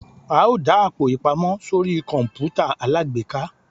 a o da Àpò-ìpamọ́ sorí kọǹpútà alágbèéká.